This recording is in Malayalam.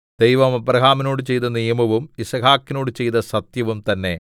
ദൈവം അബ്രാഹാമിനോട് ചെയ്ത നിയമവും യിസ്ഹാക്കിനോടു ചെയ്ത സത്യവും തന്നെ